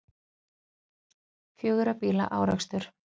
Fjögurra bíla árekstur